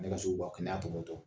Ne ka se kan'a tɔpɔtɔ